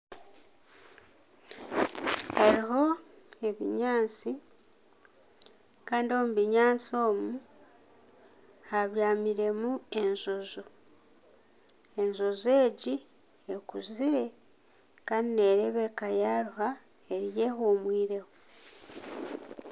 Hariho ebinyaatsi kandi omu binyaatsi omu habyamiremu enjojo, enjojo egi ekuzire kandi nereebeka yaruha eriyo ehuumwireho.